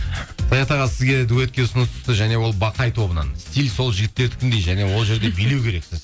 саят аға сізге дуэтке ұсыныс түсті және ол бақай тобынан стиль сол жігіттердікіндей және ол жерде билеу керексіз